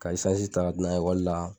Ka isansi ka ta taa n'a ye ikɔli la.